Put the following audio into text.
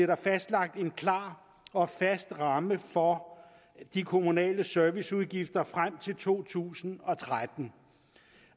der fastlagt en klar og fast ramme for de kommunale serviceudgifter frem til to tusind og tretten